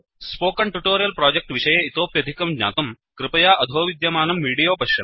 spoken tutorial project विषये इतोप्यधिकं ज्ञातुं कृपया अधो विद्यमानं विडीयो पश्यन्तु